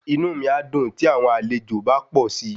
Inú mí a dùn tí àwọn àlejò bá pò si.